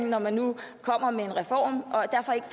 når man nu kommer med en reform